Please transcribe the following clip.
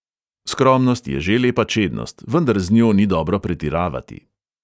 Skromnost je že lepa čednost, vendar z njo ni dobro pretiravati.